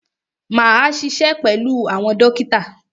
Máa ṣiṣẹ́ pẹ̀lú àwọn dókítà.